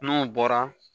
N'o bɔra